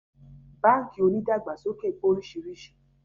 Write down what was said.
Báńkì onídàgbàsóké pé oríṣiríṣi